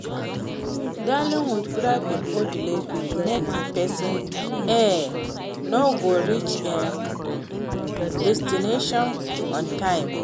dealing with traffic or delays fit make pesin e no go reach im destination on time.